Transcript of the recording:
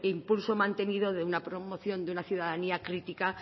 impulso mantenido de una promoción de una ciudadanía crítica